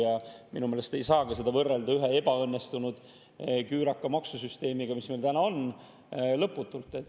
Ja minu meelest ei saa seda lõputult võrrelda ühe ebaõnnestunud küüraka maksusüsteemiga, mis meil täna on.